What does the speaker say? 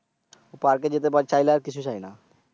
পার্কে যেতে চাইলে আর কিছু চাইনা।